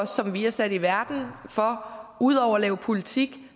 som vi er sat i verden for ud over at lave politik